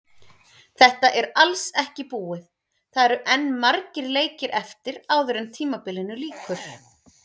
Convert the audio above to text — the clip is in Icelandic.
Þetta er alls ekki búið, það eru enn margir leikir eftir áður en tímabilinu lýkur.